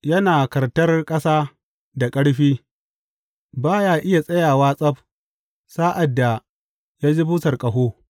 Yana kartar ƙasa da ƙarfi; ba ya iya tsayawa tsab sa’ad da ya ji busar ƙaho.